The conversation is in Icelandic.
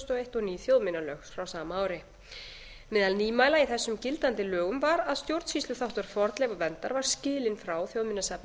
og eins og ný þjóðminjalög frá sama ári meðal nýmæla í þessum gildandi lögum var að stjórnsýsluþáttur fornleifaverndar var skilinn frá þjóðminjasafni